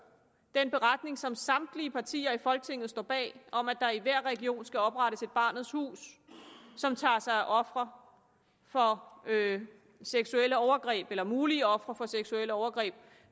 den beretning som samtlige partier i folketinget står bag om at der i hver region skal oprettes et barnets hus som tager sig af ofre for seksuelle overgreb eller mulige ofre for seksuelle overgreb